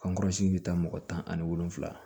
bɛ taa mɔgɔ tan ani wolonwula